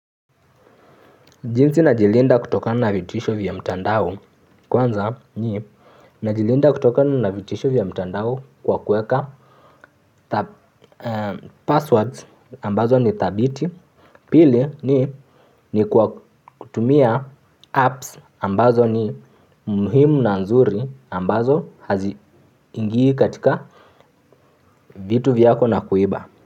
Jinsi najilinda kutokana na vitisho vya mtandao, kwanza ni najilinda kutokana na vitisho vya mtandao kwa kuweka, passwords ambazo ni thabiti. Pili ni, ni kwa kutumia apps ambazo ni muhimu na nzuri ambazo haziingii katika vitu vyako na kuiba.